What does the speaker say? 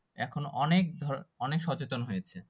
এখন অনেক অনেক সচেতন হয়েছে।